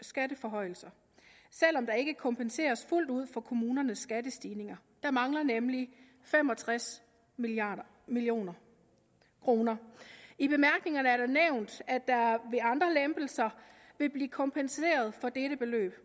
skatteforhøjelser selv om der ikke kompenseres fuldt ud for kommunernes skattestigninger der mangler nemlig fem og tres million million kroner i bemærkningerne er det nævnt at der ved andre lempelser vil blive kompenseret for dette beløb